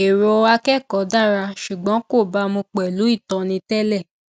èrò akẹkọọ dára ṣùgbọn kò bámu pèlú ìtóni télè